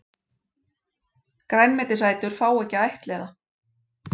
Grænmetisætur fá ekki að ættleiða